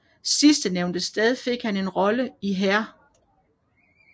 Sidstnævnte sted fik han en rolle i Hair